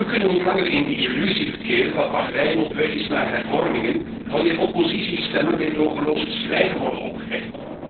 We kunnen niet langer in de illusie verkeren dat Bahrein op weg is naar hervormingen wanneer oppositiestemmen meedogenloos het zwijgen wordt opgelegd.